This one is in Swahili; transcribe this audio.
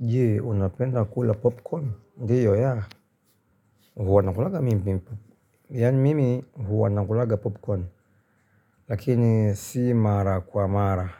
Jee, unapenda kula popcorn? Ndiyo yaa, huwa nakulanga mimpi mpupu. Yani mimi huwa nakulanga popcorn, lakini si mara kwa mara,